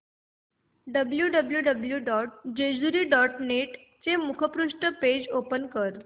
W W W dot Jejuri dot net चे मुखपृष्ठ page open कर